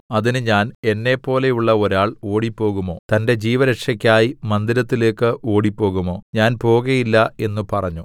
അതിന് ഞാൻ എന്നെപ്പോലെയുള്ള ഒരാൾ ഓടിപ്പോകുമോ തന്റെ ജീവരക്ഷെക്കായി മന്ദിരത്തിലേക്ക് ഓടിപ്പോകുമോ ഞാൻ പോകയില്ല എന്ന് പറഞ്ഞു